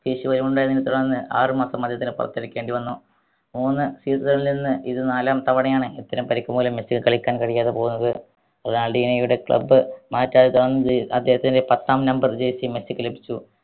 ഉണ്ടായതിനെ തുടർന്ന് ആറ് മാസം അദ്ദേഹത്തിന് പുറത്തിരിക്കേണ്ടി വന്നു മൂന്ന് season ൽ നിന്ന് ഇത് നാലാം തവണയാണ് ഇത്തരം പരിക്ക് മൂലം മെസ്സിക്ക് കളിയ്ക്കാൻ കഴിയാതെ പോകുന്നത് റൊണാൾടീനയുടെ club അദ്ധേഹത്തിൻറെ പത്താം number ജേസി മെസ്സിക്ക് ലഭിച്ചു